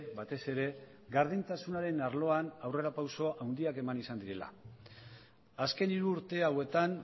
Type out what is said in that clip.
batez ere gardentasunaren arloan aurrerapauso handiak eman izan direla azken hiru urte hauetan